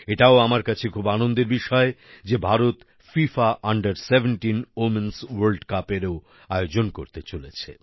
এটাও আমার কাছে খুব আনন্দের বিষয় যে ভারত ফিফা আন্ডার 17 womenস্ ভোর্ল্ড Cupএরও আয়োজন করতে চলেছে